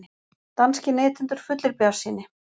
Danskir neytendur fullir bjartsýni